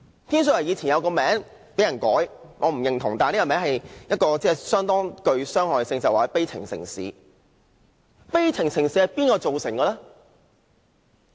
天水圍曾有一個別稱，一個我不認同但甚具傷害的名字，便是悲情城市。